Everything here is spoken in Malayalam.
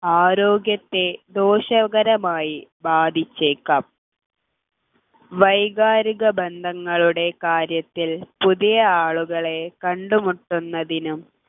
ആരോഗ്യത്തെ ദോഷകരമായി ബാധിച്ചേക്കാം വൈകാരിക ബന്ധങ്ങളുടെ കാര്യത്തിൽ പുതിയ ആളുകളെ കണ്ടുമുട്ടുന്നതിനും